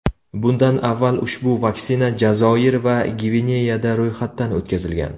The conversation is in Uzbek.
Bundan avval ushbu vaksina Jazoir va Gvineyada ro‘yxatdan o‘tkazilgan .